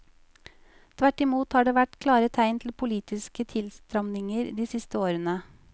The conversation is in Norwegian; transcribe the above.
Tvert i mot har det vært klare tegn til politiske tilstramninger de siste årene.